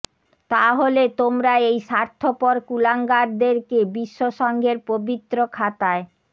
তাহলে তোমরা এই স্বার্থপর কুলাঙ্গারদেরকে বিশ্ব সংঘের পবিত্র খাতায়